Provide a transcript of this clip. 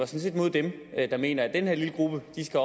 set mod dem der mener at den her lille gruppe skal